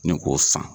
Ni k'o san